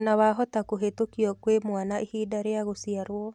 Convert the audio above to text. Ona wahota kũhĩtũkio kwĩ mwana ihinda rĩa gũciarwo